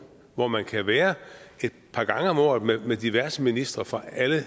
hvor man kan være et par gange om året med diverse ministre fra alle